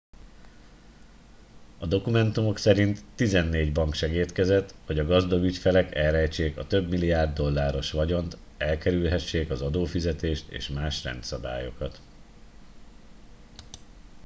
a dokumentumok szerint tizennégy bank segédkezett hogy a gazdag ügyfelek elrejtsék a több milliárd dolláros vagyont elkerülhessék az adófizetést és más rendszabályokat